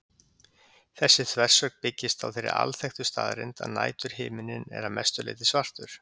Þessi þversögn byggist á þeirri alþekktu staðreynd að næturhiminninn er að mestu leyti svartur.